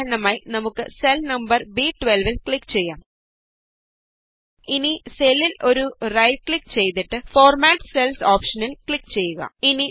ഉദാഹരണമായി നമുക്ക് cell number B12വില് ക്ലിക് ചെയ്യാം ഇനി സെല്ലില് ഒരു റൈറ്റ് ക്ലിക് ചെയ്തിട്ട് ഫോര്മാറ്റ് സെല്സ് ഓപ്ഷന് ക്ലിക് ചെയ്യുക